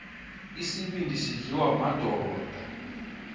isibindi sidliwa madoda